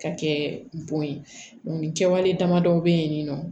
Ka kɛ bon ye nin kɛwale damadɔ bɛ ye nin nɔ